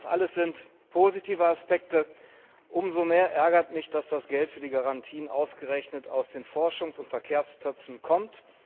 Das alles sind positive Aspekte. Umso mehr ärgert mich, dass das Geld für die Garantien ausgerechnet aus den Forschungs und Verkehrstöpfen kommt.